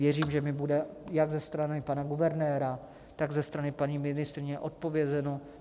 Věřím, že mi bude jak ze strany pana guvernéra, tak ze strany paní ministryně odpovězeno.